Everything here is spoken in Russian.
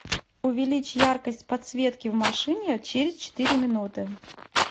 увеличь яркость подсветки в машине через четыре минуты